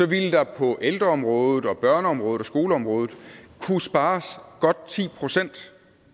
ville der på ældreområdet og børneområdet og skoleområdet kunne spares godt ti procent